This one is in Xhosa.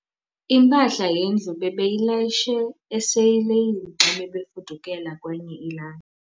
Impahla yendlu bebeyilayishe esileyini xa bebefudukela kwenye ilali.